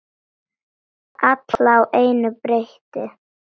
Alla á einu bretti.